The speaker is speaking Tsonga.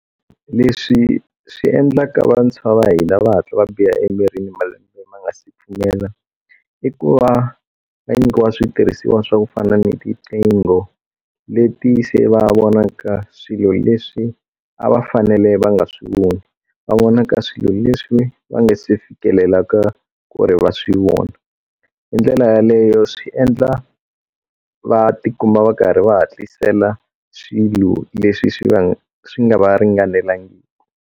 Leswi swi endlaka vantshwa va hina va hatla va biha emirini malembe ma nga si pfumela i ku va va nyikiwa switirhisiwa swa ku fana ni tiqingho leti se va vonaka swilo leswi a va fanele va nga swi voni va vona ka swilo leswi va nga si fikelela ka ku ri va swi vona hi ndlela yaleyo swi endla va tikuma va karhi va hatlisela swilo leswi swi nga swi nga va ringanelangiki.